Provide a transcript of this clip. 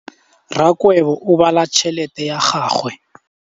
Rakgwêbô o bala tšheletê ya gagwe.